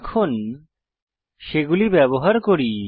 এখন সেগুলি ব্যবহার করি